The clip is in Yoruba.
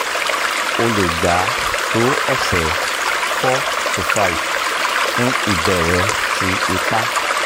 o le gba to ọsẹ four to five fun ibẹrẹ ti ipa